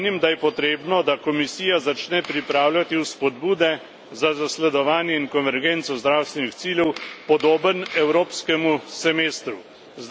Menim, da je potrebno, da Komisija začne pripravljati vzpodbude za zasledovanje in konvergenco zdravstvenih ciljev, podoben evropskemu semestru.